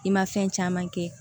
I ma fɛn caman kɛ